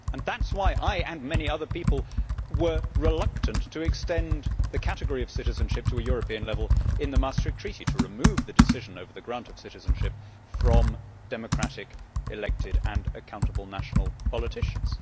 That is why I and many other people were reluctant to extend the category of citizenship to a European level in the Maastricht Treaty, to remove the decision over the granting of citizenship from democratic, elected and accountable national politicians.